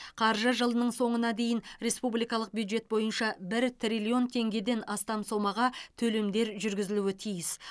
қаржы жылының соңына дейін республикалық бюджет бойынша бір триллион теңгеден астам сомаға төлемдер жүргізілуі тиіс